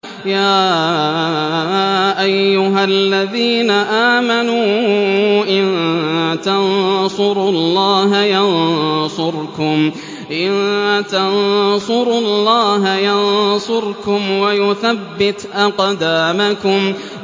يَا أَيُّهَا الَّذِينَ آمَنُوا إِن تَنصُرُوا اللَّهَ يَنصُرْكُمْ وَيُثَبِّتْ أَقْدَامَكُمْ